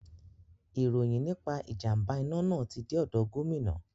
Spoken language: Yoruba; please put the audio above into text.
Ìròyìn nípa ìjàm̀bá iná náà ti dé ọ̀dọ̀ gómìnà.